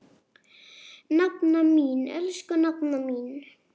Nafna mín, elsku nafna mín.